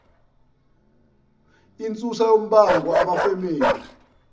insusa yombango abefamily